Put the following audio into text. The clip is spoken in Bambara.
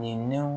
Nin